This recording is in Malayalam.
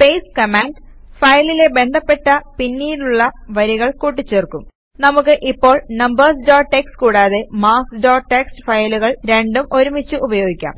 പാസ്തെ കമാൻഡ് ഫയലിലെ ബന്ധപ്പെട്ട പിന്നീടുള്ള വരികൾ കൂട്ടിച്ചേർക്കും നമുക്ക് ഇപ്പോൾ നംബർസ് ഡോട്ട് ടിഎക്സ്ടി കൂടാതെ മാർക്ക്സ് ഡോട്ട് ടിഎക്സ്ടി ഫയലുകൾ രണ്ടും ഒരുമിച്ച് ഉപയോഗിക്കാം